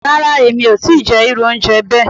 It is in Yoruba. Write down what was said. Ràrà, emi o ti jẹ iru ounjẹ bẹẹ